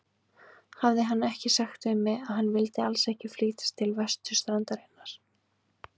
Hafði hann ekki sagt við mig, að hann vildi alls ekki flytjast til vesturstrandarinnar?